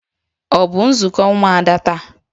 Ọ bụ nzukọ ụmụada taa?